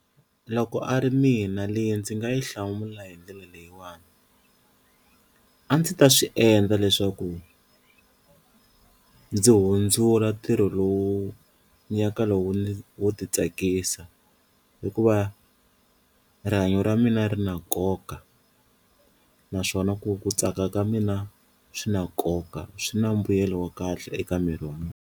Loko a ri mina leyi ndzi nga yi hlamula hi ndlela leyiwani, a ndzi ta swi endla leswaku ndzi hundzula ntirho lowu ni ya ka lowu wo ti tsakisa hikuva rihanyo ra mina ri na nkoka naswona ku ku tsaka ka mina swi na nkoka swi na mbuyelo wa kahle eka miri wa mina.